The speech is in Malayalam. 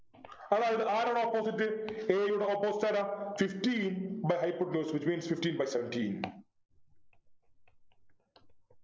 അതായത് ആരാണ് opposite a യുടെ opposite ആരാ fifteen by hypotenuse which means fifteen by seventeen